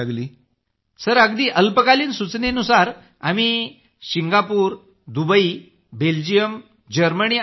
group captain sir अगदी अल्पकालीन सूचनेनुसार आम्ही सिंगापूर दुबई बेल्जियम जर्मनी आणि यू